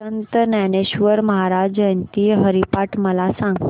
संत ज्ञानेश्वर महाराज जयंती हरिपाठ मला सांग